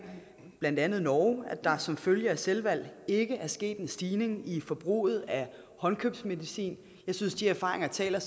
blandt andet norge at der som følge af selvvalg ikke er sket en stigning i forbruget af håndkøbsmedicin jeg synes de erfaringer taler